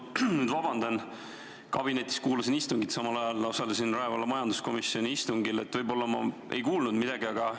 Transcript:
Vabandust, aga ma kuulasin kabinetis siinset istungit ja samal ajal osalesin Rae valla majanduskomisjoni istungil, nii et võib-olla jäi mul siin midagi kuulmata.